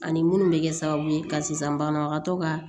Ani minnu bɛ kɛ sababu ye ka sisan banabagatɔ ka